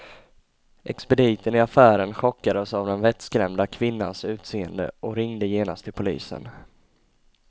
Expediten i affären chockades av den vettskrämda kvinnans utseende och ringde genast till polisen.